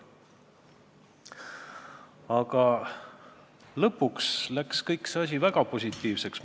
Aga lõpuks läks see asi väga positiivseks.